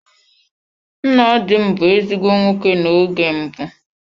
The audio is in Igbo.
Nna di m bụ ezigbo nwoke na oge mbụ.